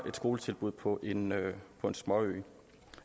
skoletilbuddet på en på en småø